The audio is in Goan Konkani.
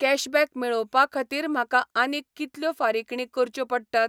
कॅशबॅक मेळोवपा खातीर म्हाका आनीक कितल्यो फारिकणी करच्यो पडटात?